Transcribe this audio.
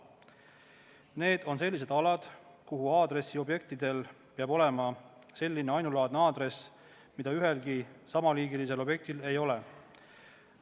Need on sellised alad, kus asuvatel aadressiobjektidel peab olema selline aadress, mida ühelgi teisel samaliigilisel objektil ei ole.